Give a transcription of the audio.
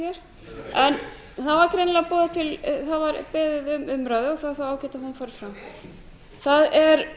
hér en það var beðið um umræðu og það er þá ágætt að hún fari fram það er